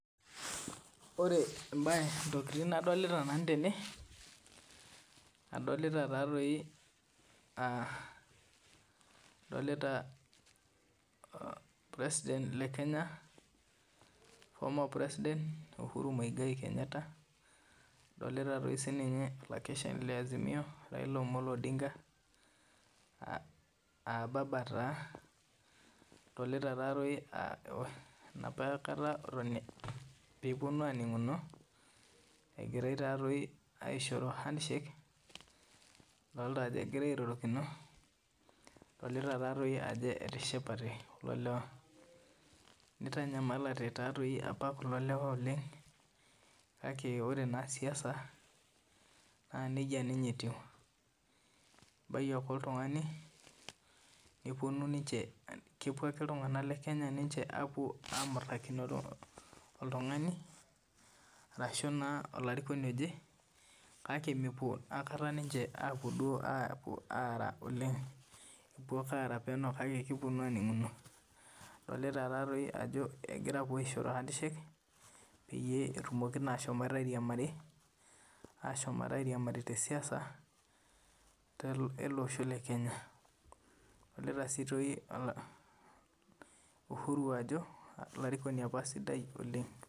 Ore ntokitin nadolita nanu tene adolita president lee Kenya former president uhuru moigai Kenyatta adolita sininye olakeshani lee Azimio Raila Omolo Odinga aa baba taa adolita Ajo enapakata pee epuonu aningunu pee epuonu aishoro handshake adolita Ajo egira airorokino nadolita Ajo etishipate kulo lewa nitanyamalate taadoi apa kulo lewa oleng kake ore naa siasa naa nejia ninye etiu ebai ake oltung'ani kepuo ake ninche iltung'ana lee Kenya amutakino oltung'ani ashu olarikoni oje kake mepuo aikata ninche ataa oleng epuo ake araa penyo kake epuonu ake aninguno adolita Ajo egira apuo aishoro handshake peyie etumoki ashomo airiamaru tee siasa ele Osho lee Kenya adolita sii Uhuru Ajo olarikoni apa sidai oleng